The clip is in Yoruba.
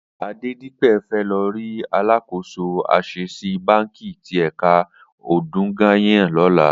Adedipe fè lò ri àlákósó Asèsí bànkí ti èkà Odogunyan lòlá